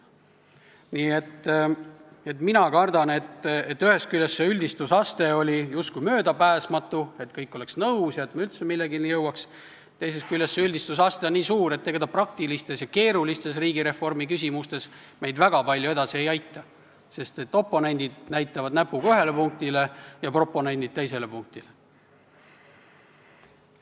Nii et mina kardan, et ühest küljest see üldistusaste oli justkui küll möödapääsmatu, selleks et kõik oleksid nõus ja me üldse millenigi jõuaksime, teisest küljest on see üldistusaste nii suur, et ega see dokument praktilistes ja keerulistes riigireformiküsimustes meid väga palju edasi ei aita, sest oponendid näitavad näpuga ühele punktile ja proponendid teisele punktile.